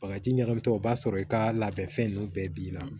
Bagaji ɲagamitɔ o b'a sɔrɔ i ka labɛnfɛn ninnu bɛɛ binna